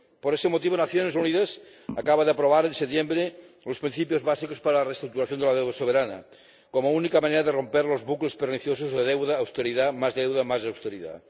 Por ese motivo, las Naciones Unidas acaban de aprobar en septiembre los principios básicos para la reestructuración de la deuda soberana como única manera de romper los bucles perniciosos de deuda, austeridad, más deuda, más austeridad.